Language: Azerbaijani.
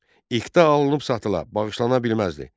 İqta alınıb satıla, bağışlana bilməzdi.